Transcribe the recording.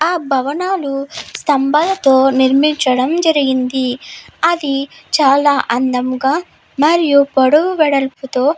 ఆ భవనాలు స్తంభాలతో నిర్మించడం జరిగినది. అది చాలా అందంగా మరియు పొడవు వెడల్పుతో --